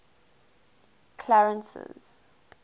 clarence's